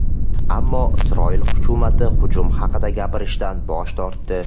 Ammo Isroil hukumati hujum haqida gapirishdan bosh tortdi.